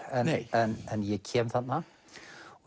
en en ég kem þarna og